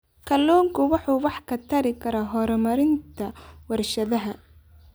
Kalluunku wuxuu wax ka tari karaa horumarinta warshadaha.